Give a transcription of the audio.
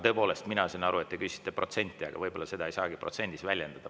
Tõepoolest, mina sain aru, et te küsisite protsenti, aga võib-olla seda ei saagi protsentides väljendada.